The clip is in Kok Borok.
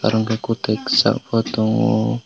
hengke kotui sak bo tango.